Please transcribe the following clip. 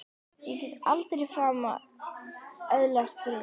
Ég get aldrei framar öðlast frið!